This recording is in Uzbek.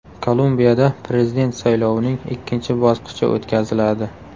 Kolumbiyada prezident saylovining ikkinchi bosqichi o‘tkaziladi.